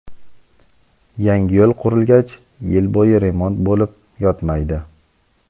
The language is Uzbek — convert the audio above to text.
yangi yo‘l qurilgach yil bo‘yi remont bo‘lib yotmaydi.